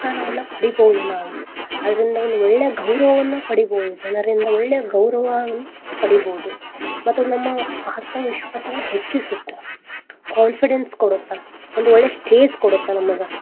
ಪಡೀಬಹುದು ನಾವು ಅದ್ರಿಂದ ಒಳ್ಳೆ ಗೌರವವನ್ನ ಪಡೀಬಹುದು ಜನರಿಂದ ಒಳ್ಳೆ ಗೌರವ ಪಡೀಬಹುದು ಮತ್ತ ನಮ್ಮ ಆತ್ಮವಿಶ್ವಾಸವನ್ನ ಹೆಚ್ಚಿಸತ್ತೆ confidence ಕೊಡುತ್ತ ಒಂದು ಒಳ್ಳೆ stage ಕೊಡುತ್ತ ನಮಗ.